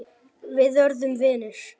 Við urðum vinir.